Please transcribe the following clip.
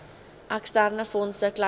eksterne fondse kleinvee